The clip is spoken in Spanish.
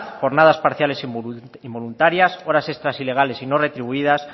jornadas parciales involuntarias horas extras ilegales y no retribuidas